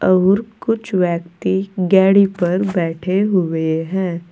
और कुछ व्यक्ति गेड़ी पर बैठे हुए हैं।